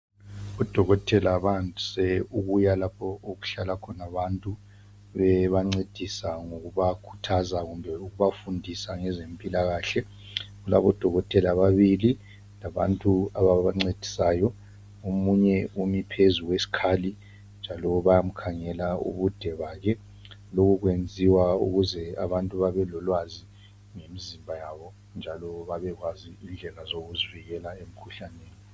Udokotela bandise ukuya lapho okuhlala khona bantu bebancedisa ngokubakhuthaza kumbe ngokubafundisa ngezempilakahle ,kulabodokotela ababili labantu ababancedisayo omunye umi phezu kwesikhali njalo bayamkhangela ubude bakhe lokho kwenziwa ukuze abantu babelolwazi ngemizimba yabo njalo babekwazi indlela zokuzivikela emkhuhlaneni.